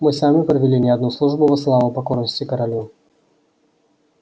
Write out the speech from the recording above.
мы сами провели не одну службу во славу покорности королю